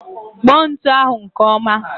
Kpọ ntụ ahụ nke ọma